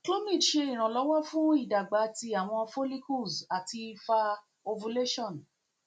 clomid ṣe iranlọwọ fun idagba ti awọn follicles ati fa ovulation